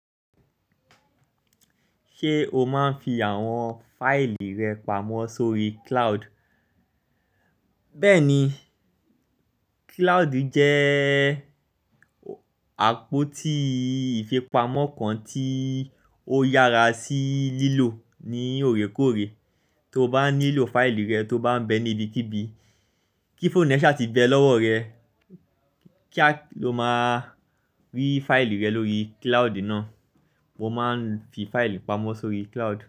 Ṣé o máa ń fi àwọn fáìlì rẹ pamọ́ sórí kilaodu Bẹ́ẹ̀ni, kilaodu jẹ́ee àpótíii ìfipamọ́ kan tíii ó yára sí lílò ní òrékòóré. Tó bá nílò fáìlì rẹ, tó bá ń bẹ ní ibi kíbí, kí fóònù e ṣà ti bẹ lọ́wọ́ rẹ, kía lo máa rí fáìlì rẹ lórí kilaodu náà. Mo máa ń fi fáìlì pamọ́ sórí cloud.